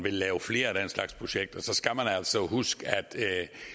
at lave flere af den slags projekter skal man altså huske at